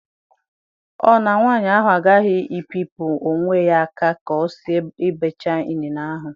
Ọ na nwanyị ahụ agaghị ebipụ onwe ya aka ka ọ si-ebecha inine ahụ?